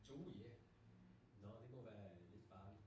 Uh ja. Nåh det kunne være lidt farligt